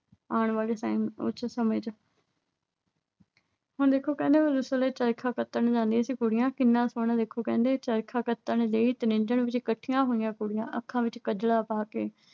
ਆਉਣ ਵਾਲੇ time ਉਹ ਚ ਸਮੇਂ ਚ ਹੁਣ ਕਹਿੰਦੇ ਆ ਉਸ ਵੇਲੇ ਚਰਖਾ ਕੱਤਣ ਜਾਂਦੀਆਂ ਸੀ ਕੁੜੀਆਂ। ਕਿੰਨਾ ਸੋਹਣਾ ਵੇਖੋ ਕਹਿੰਦੇ ਆ। ਚਰਖਾ ਕੱਤਣ ਲਈ ਤ੍ਰਿੰਝਣ ਵਿੱਚ ਇਕੱਠੀਆਂ ਹੋਈਆਂ ਕੁੜੀਆਂ। ਅੱਖਾਂ ਵਿੱਚ ਕਜਲਾ ਪਾ ਕੇ